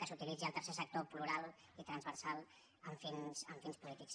que s’uti·litzés el tercer sector transversal i plural amb finali·tats polítiques